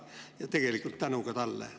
Nii et tegelikult tänu ka talle.